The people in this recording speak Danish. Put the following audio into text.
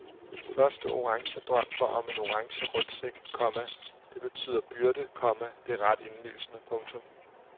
Min første orange drøm var om en orange rygsæk, komma det betyder byrde, komma det er ret indlysende. punktum